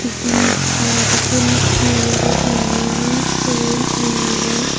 iyen taro dokken he obo bannun syen tani agey.